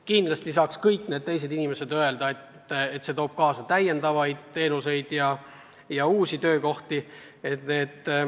Kindlasti saaks ka kõik need teised inimesed öelda, et see toob kaasa täiendavaid teenuseid ja uusi töökohti.